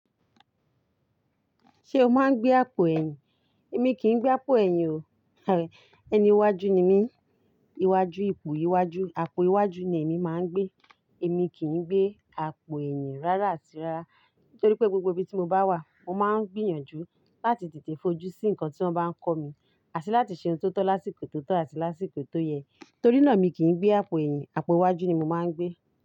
Ṣé o máa ń gbé àpò ẹ̀yìn? Èmi kì í gbé àpò ẹ̀yìn o. Ẹni iwájú ni mí. Iwájú, ipò iwájú, àpò iwájú ni èmi máa ń gbé. Èmi kì í gbé àpò ẹ̀yìn rárá àti rárá. Nítorí pé gbogbo ibi tí mo bá wà, mo máa ń gbìyànjú láti tètè fojú sí nǹkan tí wọ́n bá ń kọ́ mi àti láti ṣe ohun tó tọ́ lásìkò tó tọ́ àti lásìkò tó yẹ. Torí náà èmi kì í gbé àpò ẹ̀yìn, àpò iwájú ni mo máa ń gbé.